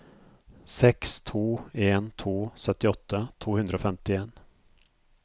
seks to en to syttiåtte to hundre og femtien